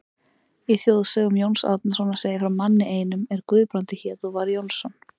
Í þjóðsögum Jóns Árnasonar segir frá manni einum er Guðbrandur hét og var Jónsson.